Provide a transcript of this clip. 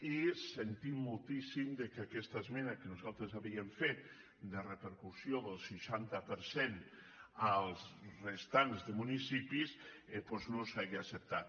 i sentim moltíssim que aquesta esmena que nosaltres havíem fet de repercussió del seixanta per cent als restants municipis doncs no s’hagi acceptat